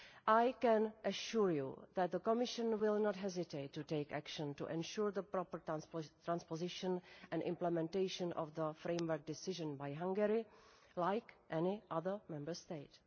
I can assure you that the Commission will not hesitate to take action to ensure the proper transposition and implementation of the Framework Decision by Hungary, like any other Member State.